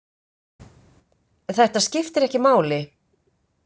Þetta skiptir ekki máli.